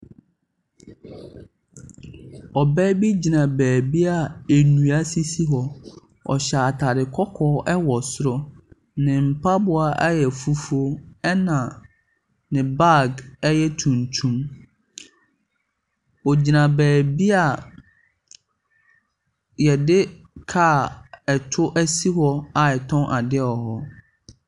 Ɔbaa bi gyina baabi a nnua sisi hɔ. Ɔhyɛ ataade kɔkɔɔ wɔ soro. Ne mpaboa yɛ fufuo. Na ne baage tuntum. Ogyina baabi yɛde car to asi a yɛtɔn ade wɔ hɔ.